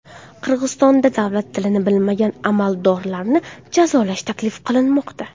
Qirg‘izistonda davlat tilini bilmagan amaldorlarni jazolash taklif qilinmoqda.